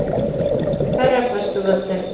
Hverja brestur völdin?